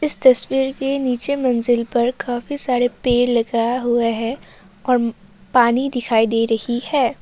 इस तस्वीर के नीचे मंजिल पर काफी सारे पेड़ लगा हुआ है और पानी दिखाई दे रही है।